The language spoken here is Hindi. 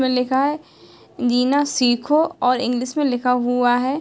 इसमें लिखा है जीना सीखो और इंग्लिश मैं लिखा हुआ है --